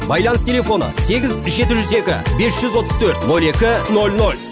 байланыс телефоны сегіз жеті жүз екі бес жүз отыз төрт он екі ноль ноль